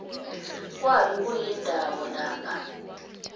kwabe kuyindawo lapha